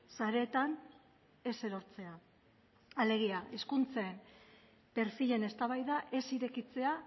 sareetan ez erortzea alegia hizkuntzen perfilen eztabaida ez irekitzea